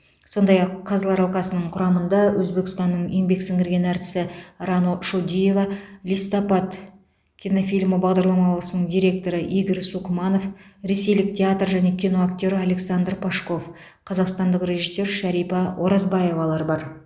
сондай ақ қазылар алқасының құрамында өзбекстанның еңбек сіңірген артисі рано шодиева листопад кинофильмі бағдарламалысының директоры игорь сукманов ресейлік театр және кино актері александр пашков қазақстандық режиссер шәрипа оразбаевалар бар